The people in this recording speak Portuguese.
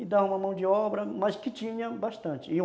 E dava uma mão de obra, mas que tinha bastante e um